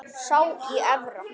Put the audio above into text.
Sá í Efra.